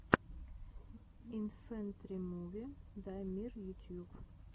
инфэнтримуви даймир ютьюб